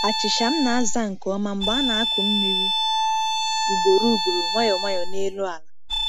Achịcha m na-aza nke ọma mgbe a na-akụ mmiri ugboro ugboro, nwayọọ nwayọọ n’elu ala.